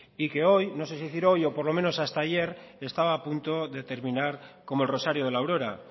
y que hoy no sé si decir hoy o por lo menos hasta ayer estaba a punto de terminar como el rosario de la aurora